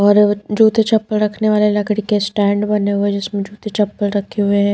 और जूते चप्पल रखने वाले लकड़ी के स्टैंड बने हुए हैं जिसमें जूते चप्पल रखे हुए हैं।